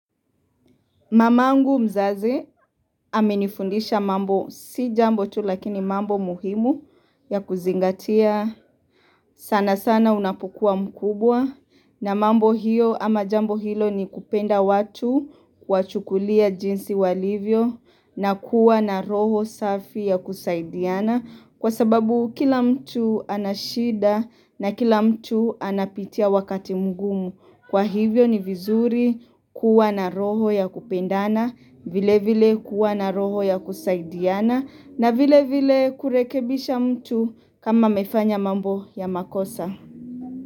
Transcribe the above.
Mamangu mzazi amenifundisha mambo si jambo tu lakini mambo muhimu ya kuzingatia sana sana unapokua mkubwa na mambo hiyo ama jambo hilo ni kupenda watu, kuwa chukulia jinsi walivyo na kuwa na roho safi ya kusaidiana, kwa sababu kila mtu anashida na kila mtu anapitia wakati mgumu. Kwa hivyo ni vizuri kuwa na roho ya kupendana, vile vile kuwa na roho ya kusaidiana na vile vile kurekebisha mtu kama amefanya mambo ya makosa.